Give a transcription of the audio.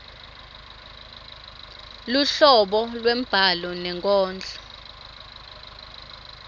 luhlobo lwembhalo nenkondlo